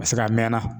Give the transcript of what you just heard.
A bɛ se ka mɛn na